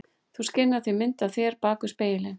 Þú skynjar því mynd af þér bak við spegilinn.